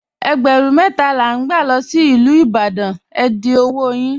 Ègbérún mẹta la n gbà lọ sí Ilú Ìbàdàn, è dì ọwọ́ yín.